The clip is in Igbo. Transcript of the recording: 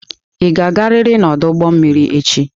Ị ga-agarịrị n'ọdụ ụgbọ mmiri echi!